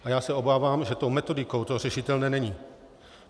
A já se obávám, že tou metodikou to řešitelné není.